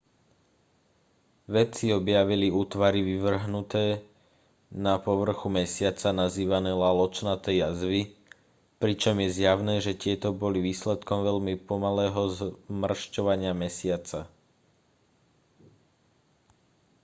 vedci objavili útvary vyvrhnuté na povrchu mesiaca nazývané laločnaté jazvy pričom je zjavné že tieto boli výsledkom veľmi pomalého zmršťovania mesiaca